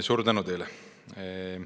Suur tänu teile!